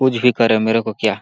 कुछ भी करे मेरे को क्या।